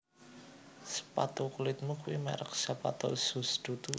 Sepatu kulitmu kui merk Zapato Shoes dudu?